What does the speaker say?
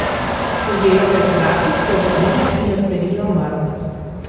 Ujela ga je v zraku, se obrnila in odklenila omaro.